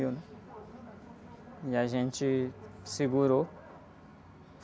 E a gente segurou.